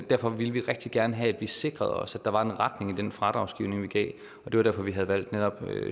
derfor ville vi rigtig gerne have at vi sikrede os at der var en retning i den fradragsgivning vi gav og det var derfor vi havde valgt netop